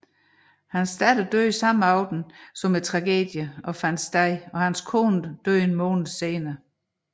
Hans datter døde den samme aften som tragedien fandt sted og hans kone døde en måned senere